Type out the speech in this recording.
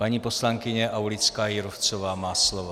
Paní poslankyně Aulická Jírovcová má slovo.